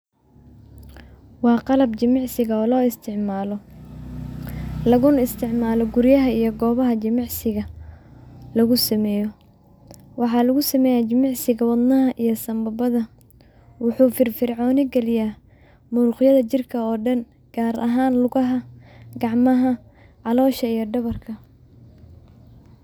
Waa qalab jimicsiga oo lo isticmaalo laguna isticmaalo guryaha iyo goobaha jimicsiga lagusameyo waxaa lagusameeya jimicsiga wadnaha iyo sanbabada Waxuu firfircooni galiya muruqyada jirka oo dhan gaar haan lugaha, gacmaha, calosha iyo dhabarka.